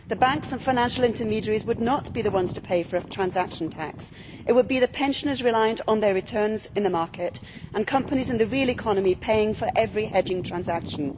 The banks and financial intermediaries would not be the ones to pay for a transaction tax. It would be the pensioners reliant on their returns in the market and companies in the real economy paying for every hedging transaction.